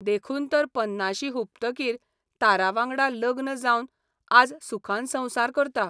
देखून तर पन्नाशी हुपतकीर तारावांगडा लग्न जावन आज सुखान संवसार करता.